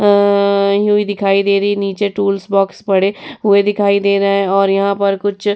अम्म्म यूँही दिखाई दे रही है। नीचे टूल्स बॉक्स पड़े हुए दिखाई दे रहे है और यहां पर कुछ --